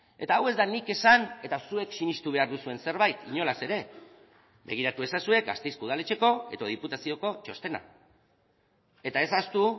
eta hau ez da nik esan eta zuek sinestu behar duzuen zerbait inolaz ere begiratu ezazue gasteizko udaletxeko edo diputazioko txostena eta ez ahaztu